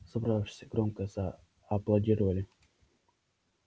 собравшиеся громко зааплодировали